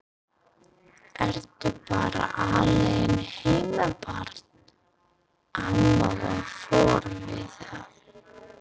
Ertu bara alein heima barn? amma var forviða.